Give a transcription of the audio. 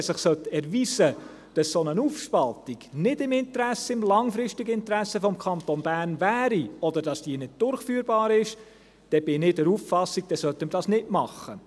Wenn es sich erweisen sollte, dass eine solche Aufspaltung nicht im langfristigen Interesse des Kantons Bern wäre oder dass diese nicht durchführbar ist, bin ich der Auffassung, wir sollten dies nicht machen.